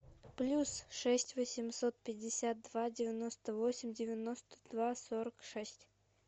плюс шесть восемьсот пятьдесят два девяносто восемь девяносто два сорок шесть